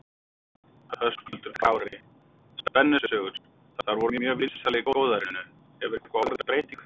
Höskuldur Kári: Spennusögur, þær voru mjög vinsælar í góðærinu, hefur eitthvað orðið breyting þar á?